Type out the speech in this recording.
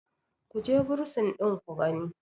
ku je bursin ɗin ku gani!